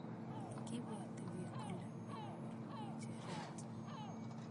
Kipwoti pik kole manyoru ng'echeret